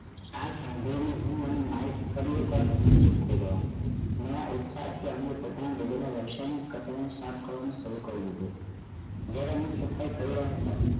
આ સાંભળી હું અને માઇક ફરી એક વાર રોમાંચક થઈ ગયા ઘણા ઉત્સાહ થી અમે પોતાના બદલવાનું શરૂ કરી દીધું warehouse ની સફાઇ કરી રહ્યા હતા